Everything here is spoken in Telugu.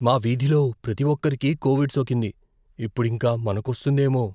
మా వీధిలో ప్రతి ఒక్కరికీ కోవిడ్ సోకింది, ఇప్పుడింక మనకొస్తుందేమో.